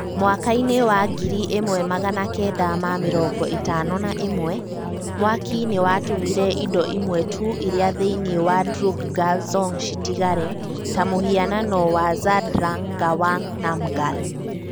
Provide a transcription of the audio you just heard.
Mwaka-inĩ wa ngiri ĩmwe magana kenda ma mĩrongo ĩtano na ĩmwe [1951], mwaki nĩ watũmire indo imwe tu iria thĩinĩ wa Drukgyal Dzong citigare , ta mũhianano wa Zhabdrung Ngawang Namgyal.